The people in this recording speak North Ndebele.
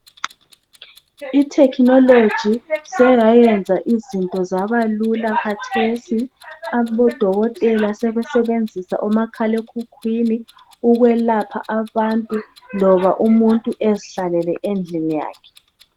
Ithekhinoloji seyayenza izinto zaba lula khathesi abodokotela sebesebenzisa omakhalekhukhwini ukwelapha abantu loba umuntu ezihlalele endlini yakhe.